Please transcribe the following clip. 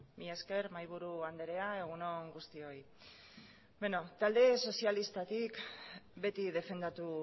mila esker mahaiburu andrea egun on guztioi talde sozialistatik beti defendatu